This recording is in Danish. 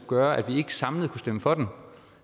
gøre at vi ikke samlet kan stemme for den